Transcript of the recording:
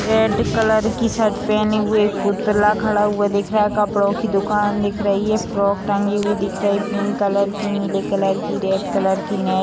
red colour की shirt पेहने हुए पुतला खड़ा हुआ दिख रहा हैं कपड़ो की दूकान दिख रहा हैं फ्रॉक टंगी हुई दिख रही हैं पिंक कलर की नीले कलर के रेड कलर की |